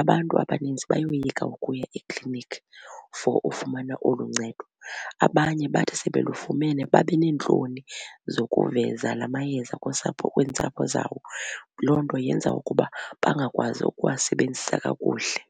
abantu abaninzi bayoyika ukuya ekliniki for ufumana olu ncedo. Abanye bathi sebelufumene babe neentloni zokuveza la mayeza kusapho kwiintsapho zabo. Loo nto yenza ukuba bangakwazi ukuwasebenzisa kakuhle.